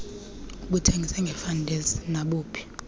abuthengise ngefantesi nabuphi